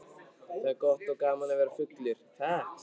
Það er gott og gaman að vera fullur.